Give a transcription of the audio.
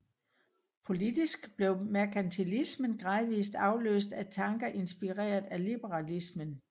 Politisk blev merkantilismen gradvist afløst af tanker inspireret af liberalismen